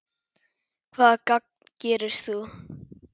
Hvaða gagn gerir þú?